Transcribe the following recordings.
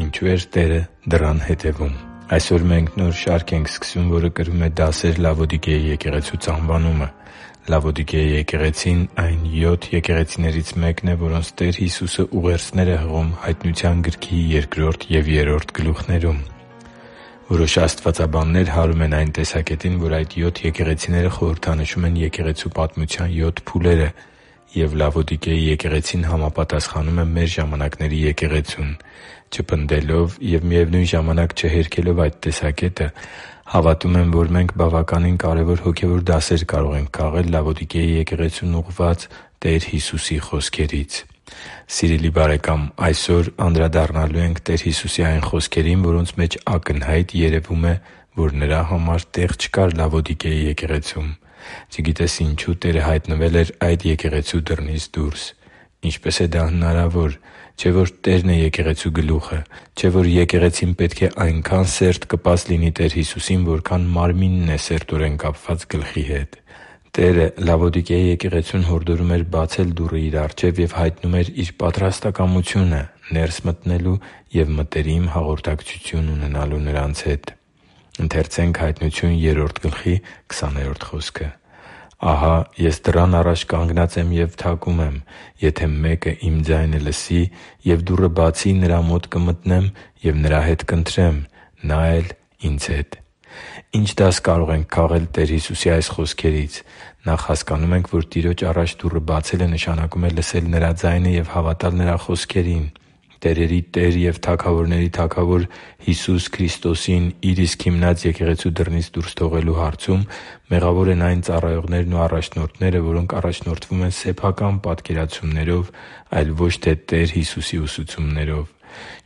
Ինչո՞ւ էր Տերը դռան հետևում Այսօր մենք նոր շարք ենք սկսում, որը կրում է «Դասեր Լավոդիկեի եկեղեցուց»անվանումը։ Լավոդիկեի եկեղեցին այն յոթ եկեղեցիներից մեկն է, որոնց Տեր Հիսուսը ուղերձներ է հղում Հայտնության գրքի երկրորդ և երրորդ գլուխներում։ Որոշ աստվածաբաններ հարում են այն տեսակետին, որ այդ յոթ եկեղեցիները խորհրդանշում են Եկեղեցու պատմության յոթ փուլերը, և Լավոդիկեի եկեղեցին համապատասխանում է մեր ժամանակների եկեղեցուն։ Չպնդելով և, միևնույն ժամանակ, չհերքելով այդ տեսակետը՝ հավատում եմ, որ մենք բավականին կարևոր հոգևոր դասեր կարող ենք քաղել Լավոդիկեի եկեղեցուն ուղղված Տեր Հիսուսի խոսքերից։ Սիրելի՛ բարեկամ, այսօր անդրադառնալու ենք Տեր Հիսուսի այն խոսքերին, որոնց մեջ ակնհայտ երևում է, որ Նրա համար տեղ չկար Լավոդիկեի եկեղեցում։ Չգիտես ինչու՝ Տերը հայտնվել էր այդ եկեղեցու դռնից դուրս։ Ինչպե՞ս է դա հնարավոր։ Չէ՞ որ Տերն է եկեղեցու գլուխը։ Չէ՞ որ եկեղեցին պետք է այնքա՜ն սերտ կպած լինի Տեր Հիսուսին, որքան մարմինն է սերտորեն կապված գլխի հետ։ Տերը Լավոդիկեի եկեղեցուն հորդորում էր բացել դուռը Իր առջև և հայտնում էր Իր պատրաստակամությունը՝ ներս գալու և մտերիմ հաղորդակցություն ունենալու նրանց հետ։ «Ահա Ես դռան առաջ կանգնած եմ ու բախում եմ. եթե մեկն Իմ ձայնը լսի և դուռը բացի, նրա մոտ կմտնեմ ու նրա հետ կընթրեմ, նա էլ՝ Ինձ հետ» (Հայտնություն 3․20)։ Ի՞նչ դաս կարող ենք քաղել Տեր Հիսուսի այս խոսքերից։ Նախ՝ հասկանում ենք, որ Տիրոջ առաջ դուռը բացելը նշանակում է լսել Նրա ձայնը և հավատալ Նրա խոսքերին։ Տերերի Տեր և թագավորների Թագավոր Հիսուս Քրիստոսին Իր իսկ հիմնած եկեղեցու դռնից դուրս թողնելու հարցում մեղավոր են այն ծառայողներն ու առաջնորդները, որոնք առաջնորդվում են սեփական պատկերացումներով, այլ ոչ թե Տեր Հիսուսի ուսուցումներով։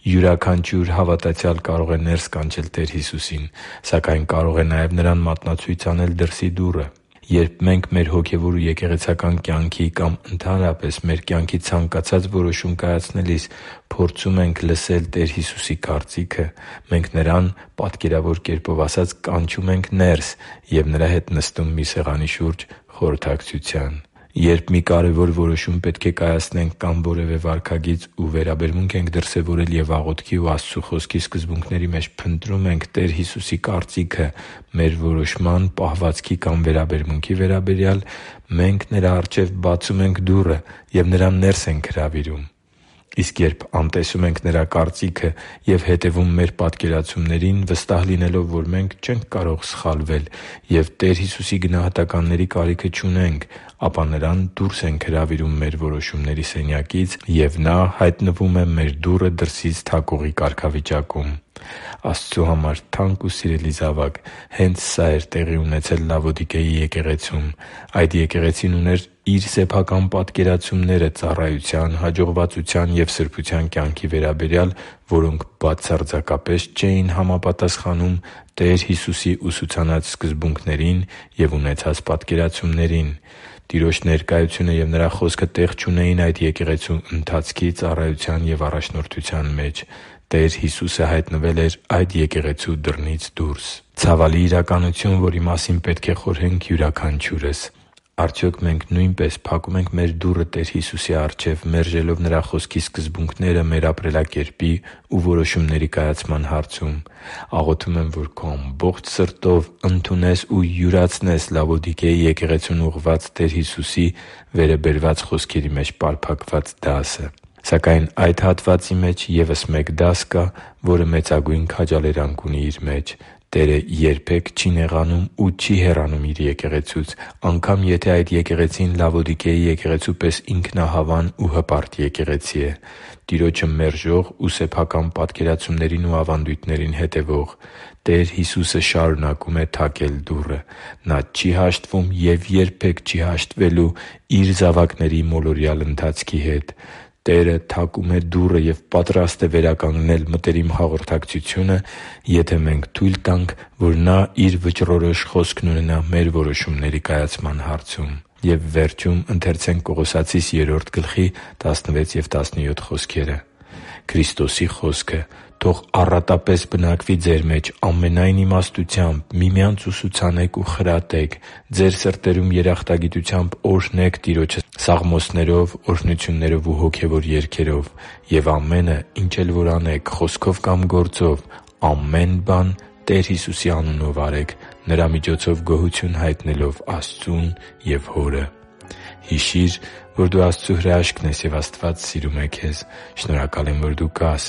Յուրաքանչյուր հավատացյալ կարող է ներս կանչել Տեր Հիսուսին, սակայն կարող է նաև Նրան մատնացույց անել դրսի դուռը։ Երբ մենք մեր հոգևոր ու եկեղեցական կյանքի կամ, ընդհանրապես, մեր կյանքի ցանկացած որոշում կայացնելիս փորձում ենք լսել Տեր Հիսուսի կարծիքը, մենք Նրան, պատկերավոր կերպով ասած, կանչում ենք ներս և Նրա հետ նստում մի սեղանի շուրջ խորհրդակցության։ Երբ մի կարևոր որոշում պետք է կայացնենք կամ որևէ վարքագիծ ու վերաբերմունք ենք դրսևորել և աղոթքի ու Աստծու Խոսքի սկզբունքների մեջ փնտրում ենք Տեր Հիսուսի կարծիքը մեր որոշման, պահվածքի կամ վերաբերմունքի վերաբերյալ, մենք Նրա առջև բացում ենք դուռը և Նրան ներս ենք հրավիրում։ Իսկ երբ անտեսում ենք Նրա կարծիքը և հետևում մեր պատկերացումներին՝ վստահ լինելով, որ մենք չենք կարող սխալվել և Տեր Հիսուսի գնահատականների կարիքը չունենք, ապա Նրան դուրս ենք հրավիրում մեր որոշումների սենյակից, և Նա հայտնվում է մեր դուռը դրսից թակողի կարգավիճակում։ Աստծու համար թանկ ու սիրելի՛ զավակ, հե՛նց սա էր տեղի ունեցել Լավոդիկեի եկեղեցում։ Այդ եկեղեցին ուներ իր սեփական պատկերացումները ծառայության, հաջողվածության և սրբության կյանքի վերաբերյալ, որոնք բացարձակապես չէին համապատասխանում Տեր Հիսուսի ուսուցանած սկզբունքներին և ունեցած պատկերացումներին։ Տիրոջ ներկայությունը և Նրա Խոսքը տեղ չունեին այդ եկեղեցու ընթացքի, ծառայության և առաջնորդության մեջ։ Տեր Հիսուսը հայտնվել էր այդ եկեղեցու դռնից դուրս․․․ Ցավալի իրականություն, որի մասին պետք է խորհենք յուրաքանչյուրս։ Արդյոք մենք նույնպե՞ս փակում ենք մեր դուռը Տեր Հիսուսի առջև՝ մերժելով Նրա Խոսքի սկզբունքները մեր ապրելակերպի ու որոշումների կայացման հարցում։ Աղոթում եմ, որ քո ամբողջ սրտով ընդունես ու յուրացնես Լավոդիկեի եկեղեցուն ուղղված Տեր Հիսուսի՝ վերը բերված խոսքերի մեջ պարփակված դասը։ Սակայն այդ հատվածի մեջ ևս մեկ դաս կա, որը մեծագույն քաջալերանք ունի իր մեջ։ Տերը երբե՛ք չի նեղանում ու չի հեռանում Իր եկեղեցուց, անգամ եթե այդ եկեղեցին Լավոդիկեի եկեղեցու պես ինքնահավան ու հպարտ եկեղեցի է՝ Տիրոջը մերժող ու սեփական պատկերացումներին ու ավանդույթներին հետևող։ Տեր Հիսուսը շարունակում է թակել դուռը։ Նա չի հաշտվում և երբե՛ք չի հաշտվելու Իր զավակների մոլորյալ ընթացքի հետ։ Տերը թակում է դուռը և պատրաստ է վերականգնել մտերիմ հաղորդակցությունը, եթե մենք թույլ տանք, որ Նա Իր վճռորոշ խոսքն ունենա մեր որոշումների կայացման հարցում: «Քրիստոսի խոսքը թող առատապես բնակվի ձեր մեջ, ամենայն իմաստությամբ միմյանց ուսուցանե՛ք ու խրատե՛ք, ձեր սրտերում երախտագիտությամբ օրհնե՛ք Տիրոջը սաղմոսներով, օրհնություններով ու հոգևոր երգերով։ Եվ ամենը, ինչ էլ որ անեք՝ խոսքով կամ գործով, ամեն բան Տեր Հիսուսի անունո՛վ արեք՝ Նրա միջոցով գոհություն հայտնելով Աստծուն և Հորը» (Կողոսացիս 3․16-17): Հիշի՛ր, որ դու Աստծո հրաշքն ես, և Աստված սիրում է քեզ։ Շնորհակալ եմ, որ դու կա՛ս